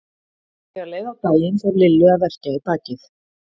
En þegar leið á daginn fór Lillu að verkja í bakið.